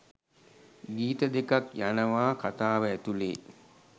ගීත දෙකක් යනවා කතාව ඇතුලේ